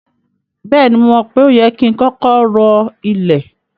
Bẹ́ẹ̀ni, mo mọ̀ pé o yẹ ki n kọkọ rọ ilẹ̀.